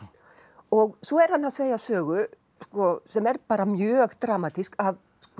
og svo er hann að segja sögu sem er bara mjög dramatísk af